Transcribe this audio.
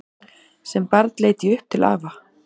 Sem barn leit ég upp til afa.